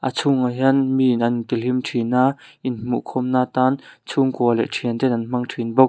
a chhungah hian mi an in tihlim thin a in hmuhkhawm na tan chhungkua leh thianten an hmang thin bawk.